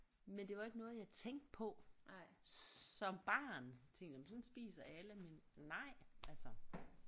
Men det var ikke noget jeg tænkte på som barn tænkte jeg men sådan spiser alle men nej altså